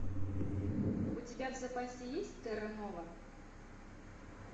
у тебя в запасе есть терра нова